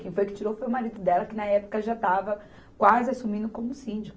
Quem foi que tirou foi o marido dela, que na época já estava quase assumindo como síndico.